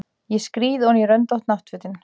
Ég skríð oní röndótt náttfötin.